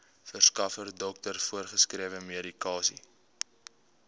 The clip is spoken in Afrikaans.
verskaffer dokter voorgeskrewemedikasie